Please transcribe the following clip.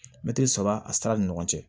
Mɛtiri saba a sira ni ɲɔgɔn cɛ